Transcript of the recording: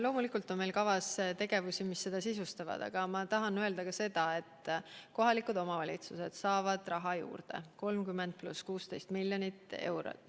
Loomulikult on meil kavas tegevusi, mis seda sisustavad, aga ma tahan öelda ka seda, et kohalikud omavalitsused saavad raha juurde, 30 + 16 miljonit eurot.